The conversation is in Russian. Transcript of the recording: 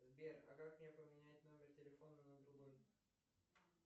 сбер а как мне поменять номер телефона на другой